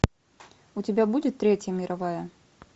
у тебя будет третья мировая